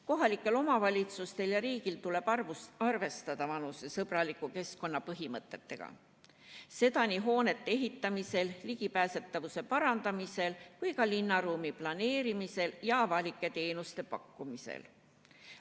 Kohalikel omavalitsustel ja riigil tuleb arvestada vanusesõbraliku keskkonna põhimõtteid nii hoonete ehitamisel, ligipääsetavuse parandamisel kui ka linnaruumi planeerimisel ja avalike teenuste pakkumisel.